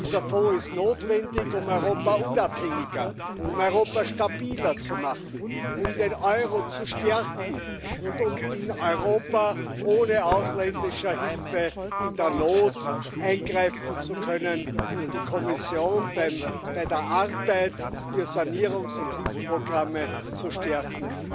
Dieser Fonds ist notwendig, um Europa unabhängiger, um Europa stabiler zu machen, um den Euro zu stärken und um in Europa ohne ausländische Hilfe in der Not eingreifen zu können und die Kommission bei der Arbeit für Sanierungs und Hilfsprogramme zu stärken.